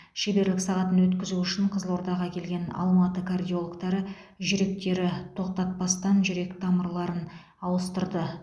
шеберлік сағатын өткізу үшін қызылордаға келген алматы кардиологтары жүректері тоқтатпастан жүрек тамырларын ауыстырды